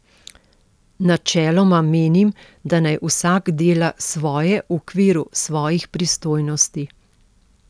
Načeloma menim, da naj vsak dela svoje v okviru svojih pristojnosti.